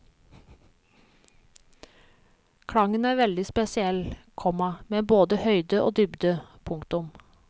Klangen er veldig spesiell, komma med både høyde og dybde. punktum